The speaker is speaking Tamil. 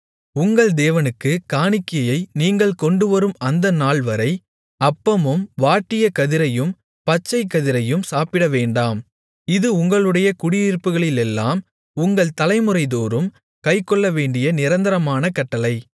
உங்கள் தேவனுக்குக் காணிக்கையை நீங்கள் கொண்டுவரும் அந்தநாள்வரை அப்பமும் வாட்டிய கதிரையும் பச்சைக்கதிரையும் சாப்பிடவேண்டாம் இது உங்களுடைய குடியிருப்புகளிலெல்லாம் உங்கள் தலைமுறைதோறும் கைக்கொள்ளவேண்டிய நிரந்தரமான கட்டளை